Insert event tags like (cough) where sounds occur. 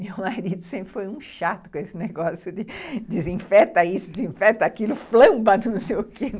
(laughs) Meu marido sempre foi um chato com esse negócio de desinfeta isso, desinfeta aquilo, flamba não sei o quê.